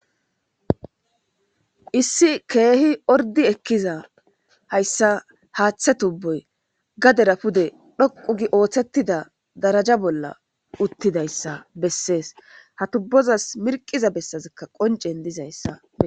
Issi Keehi ordi ekiza haysa haathe tubo gadera pude dhoqu gi oothetida daraja bolla utidaysa besesi , ha tubozasi mirqiza besazika qoncen dizaysa beyo.....